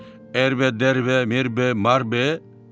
Ərbə, dərbə, merbə, marbə.